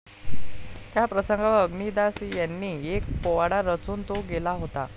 त्या प्रसंगावर अग्निदास यांनी एक पोवाडा रचून तो गेला होता